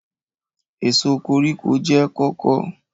Èso koríko jẹ́ kóko.